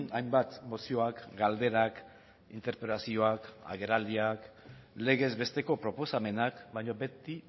hainbat mozioak galderak interpelazioak agerraldiak legezbesteko proposamenak baina beti